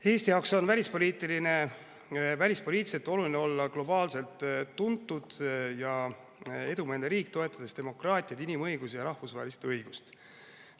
Eesti jaoks on välispoliitiliselt oluline olla globaalselt tuntud ja edumeelne riik, toetades demokraatiat, inimõigusi ja rahvusvahelist õigust.